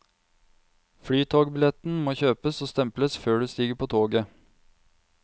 Flytogbilletten må kjøpes og stemples før du stiger på toget.